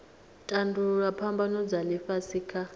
tandululwa phambano dza ifhasi kha